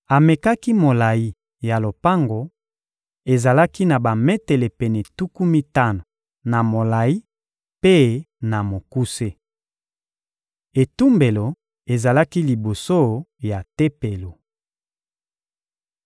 Amekaki molayi ya lopango: ezalaki na bametele pene tuku mitano na molayi mpe na mokuse. Etumbelo ezalaki liboso ya Tempelo.